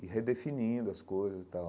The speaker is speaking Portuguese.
e redefinindo as coisas e tal.